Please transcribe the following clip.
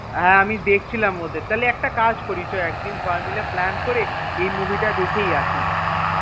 হ্যাঁ আমি দেখছিলাম ওদের তাহলে একটা কাজ করি চ একদিন সবাই মিলে plan করে এই movie টা দেখেই আসি.